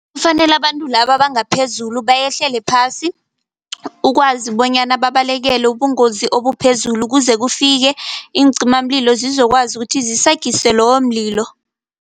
Kufanele abantu laba abanga phezulu behlele phasi, ukwazi bonyana babalekele ubungozi obuphezulu kuze kufike iincimamlilo sizokwazi ukuthi zisagise loyo mlilo.